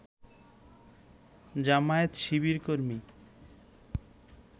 জামায়াত-শিবিরকর্মী